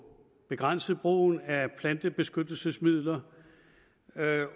begrænset brugen af plantebeskyttelsesmidler